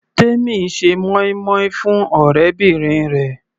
Temi ń ṣe moin-moin fún ọ̀rẹ́bìnrin rẹ̀.